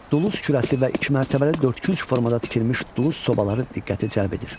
Duluz kürəsi və iki mərtəbəli dördkünc formada tikilmiş duluz sobaları diqqəti cəlb edir.